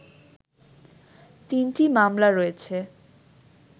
তিনটি মামলা রয়েছে